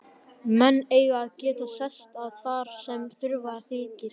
Menn eiga að geta sest að þar sem þurfa þykir.